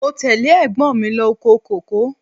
Mo tẹ́lẹ̀ ẹ̀gbọ́n mi lọ oko kòkó.